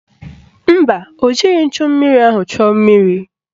Mba, o jighị nchummiri ahụ chuo mmiri.